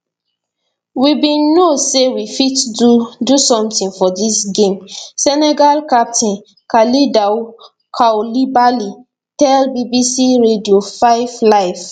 we bin know say we fit do do something for dis game senegal captain kalidou koulibaly tell bbc radio 5 live